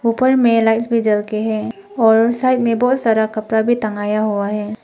ऊपर में लाइफ में जल के है और साइड में बहुत सारा कपड़ा भी टंगया हुआ है।